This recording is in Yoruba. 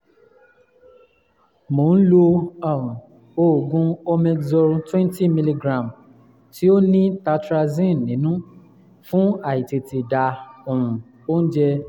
mo ń lo um oògùn omezol 20mg tí ó ní tartrazine nínú fún àìtètè dà um oúnjẹ um